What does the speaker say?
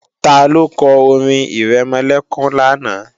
Taló kọ orin-ìrẹmọlẹ́kún lánàá?